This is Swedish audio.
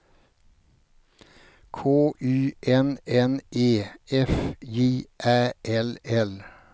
K Y N N E F J Ä L L